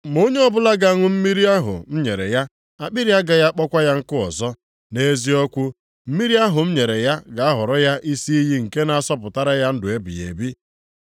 Ma onye ọbụla ga-aṅụ mmiri ahụ m nyere ya, akpịrị agaghị akpọkwa ya nkụ ọzọ. Nʼeziokwu, mmiri ahụ m nyere ya ga-aghọrọ ya isi iyi nke na-asọpụtara ya ndụ ebighị ebi.”